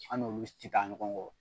An n'olu ti ta ɲɔgɔn kɔ